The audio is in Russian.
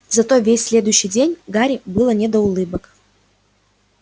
зато весь следующий день гарри было не до улыбок